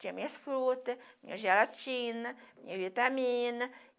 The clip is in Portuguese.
Tinha minhas frutas, minha gelatina, minha vitamina.